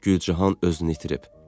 Gülcahan özünü itirib.